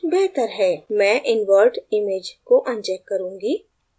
मैं invert image को uncheck करुँगी